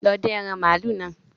Lọ dín ẹran màálù náà